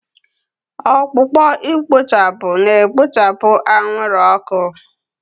Ọkpụkpọ ikpochapụ na-ekpopụ anwụrụ ọkụ.